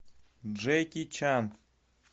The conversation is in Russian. джеки чан